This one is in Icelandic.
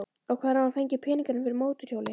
Og hvar hefur hann fengið peninga fyrir mótorhjóli?